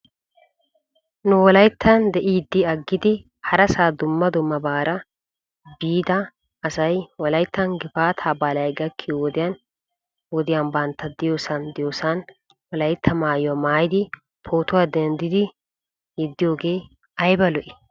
Nu wolayttan de'iiddi aggidi harasaa dumma dummabaara biida asay wolayttan gifaataa baalay gakkiyo wodiyan wodiyan bantta diyoosan diyoosan wolaytta maayuwaa maayidi pootuwaa denddi denddidi yeddiyoogee ayba lo'ii?